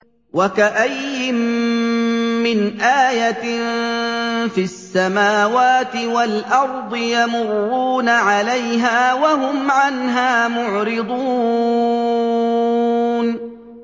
وَكَأَيِّن مِّنْ آيَةٍ فِي السَّمَاوَاتِ وَالْأَرْضِ يَمُرُّونَ عَلَيْهَا وَهُمْ عَنْهَا مُعْرِضُونَ